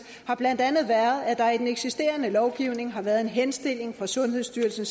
har blandt andet været at der i den eksisterende lovgivning har været en henstilling fra sundhedsstyrelsen